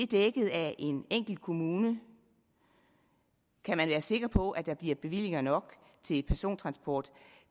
dækket af en enkelt kommune kan man være sikker på at der bliver bevillinger nok til persontransport